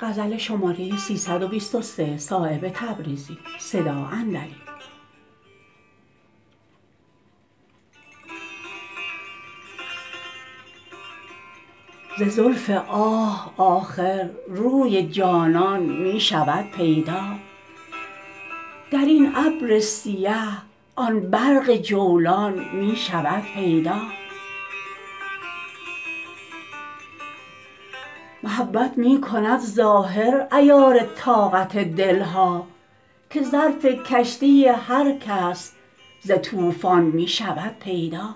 ز زلف آه آخر روی جانان می شود پیدا درین ابر سیه آن برق جولان می شود پیدا محبت می کند ظاهر عیار طاقت دلها که ظرف کشتی هر کس ز طوفان می شود پیدا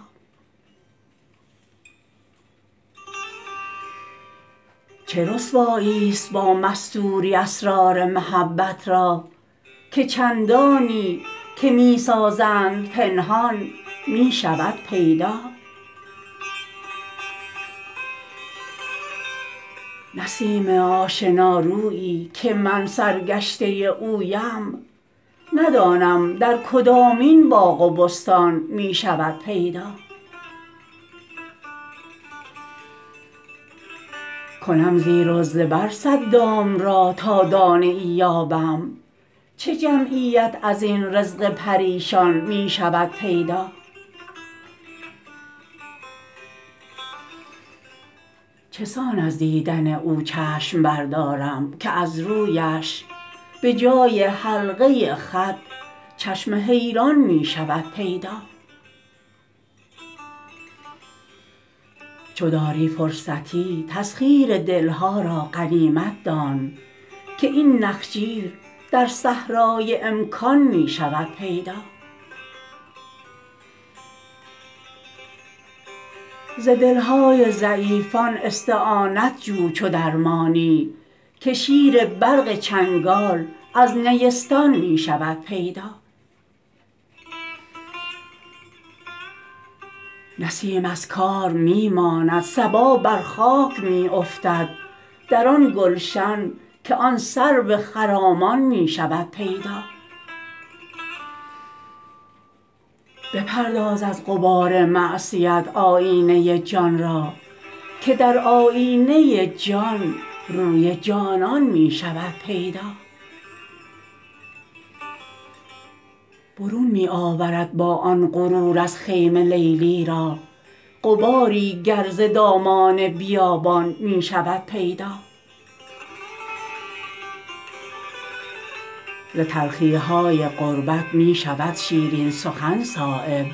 چه رسوایی است با مستوری اسرار محبت را که چندانی که می سازند پنهان می شود پیدا نسیم آشنارویی که من سرگشته اویم ندانم در کدامین باغ و بستان می شود پیدا کنم زیر و زبر صد دام را تا دانه ای یابم چه جمعیت ازین رزق پریشان می شود پیدا چسان از دیدن او چشم بردارم که از رویش به جای حلقه خط چشم حیران می شود پیدا چو داری فرصتی تسخیر دلها را غنیمت دان که این نخجیر در صحرای امکان می شود پیدا ز دلهای ضعیفان استعانت جو چو درمانی که شیر برق چنگال از نیستان می شود پیدا نسیم از کار می ماند صبا بر خاک می افتد در آن گلشن که آن سرو خرامان می شود پیدا بپرداز از غبار معصیت آیینه جان را که در آیینه جان روی جانان می شود پیدا برون می آورد با آن غرور از خیمه لیلی را غباری گر ز دامان بیابان می شود پیدا ز تلخی های غربت می شود شیرین سخن صایب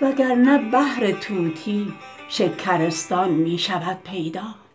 وگرنه بهر طوطی شکرستان می شود پیدا